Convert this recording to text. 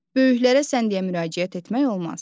Böyüklərə sən deyə müraciət etmək olmaz.